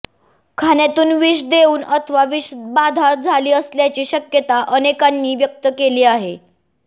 खाण्यातून विष देऊन अथवा विषबाधा झाली असल्याची शक्यता अनेकांनी व्यक्त केली आहे